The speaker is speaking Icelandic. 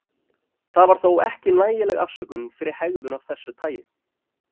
Það var þó ekki nægileg afsökun fyrir hegðun af þessu tagi.